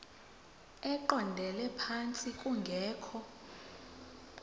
eqondele phantsi kungekho